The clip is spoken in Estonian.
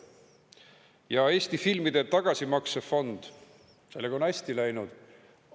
Ja filmi tagasimaksefond, sellega on hästi läinud.